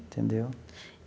Entendeu?